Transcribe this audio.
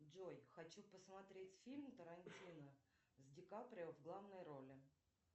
джой хочу посмотреть фильм тарантино с ди каприо в главной роли